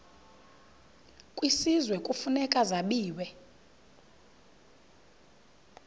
kwisizwe kufuneka zabiwe